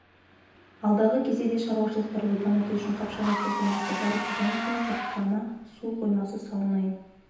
алдағы кезде де шаруашылықтарды дамыту үшін қапшағай су қоймасы бар бұдан кейін сарқырама су қоймасы салынайын